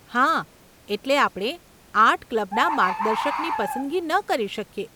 હા, એટલે આપણે આર્ટ ક્લબના મર્ગદર્શકની પસંદગી ન કરી શકીએ.